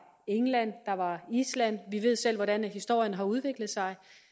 england og island vi ved selv hvordan historien har udviklet sig